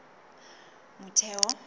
motheo